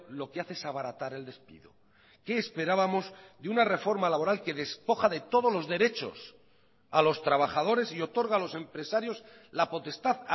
lo que hace es abaratar el despido qué esperábamos de una reforma laboral que despoja de todos los derechos a los trabajadores y otorga a los empresarios la potestad